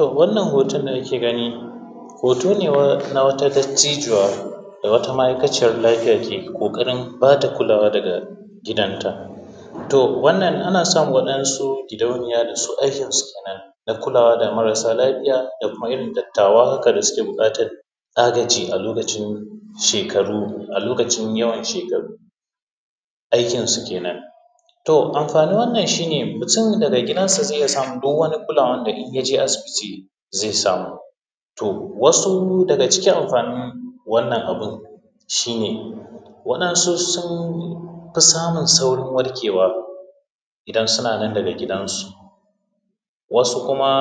um wannan hotan da muke gani hoto ne na wata dattijuwa da wata ma’aikaciyan lafiya da ke ƙoƙarin ba ta kulawa daga gidanta, um wannan ana san waɗansu gidauniya dake aikinsu kenan da kulawa da marasa lafiya da kuma irin dattawa, haka da suke buƙatan agaji a lokacin shekaru a lokacin yawan shekaru aikinsu kenan. um Amfanin wannan shi ne mutum daga gidansa zai iya samun duk wani kulawan da in ya je asibiti zai samu, um wasu daga cikin amfanin wannan abun shi ne waɗansu sun fi samun saurin warkewa idan suna nan daga gidansu wasu kuma